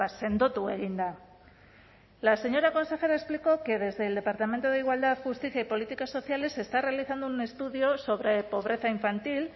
sendotu egin da la señora consejera explicó que desde el departamento de igualdad justicia y políticas sociales se está realizando un estudio sobre pobreza infantil